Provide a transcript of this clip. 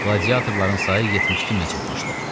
Qladiatorların sayı 72000-ə çatmışdı.